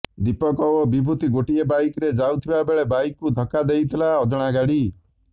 ଦୀପକ ଓ ବିଭୂତି ଗୋଟିଏ ବାଇକରେ ଯାଉଥିବା ବେଳେ ବାଇକକୁ ଧକ୍କା ଦେଇଥିଲେ ଅଜଣାଗାଡ଼ି